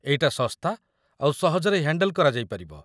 ଏଇଟା ଶସ୍ତା ଆଉ ସହଜରେ ହ୍ୟାଣ୍ଡେଲ୍ କରାଯାଇପାରିବ ।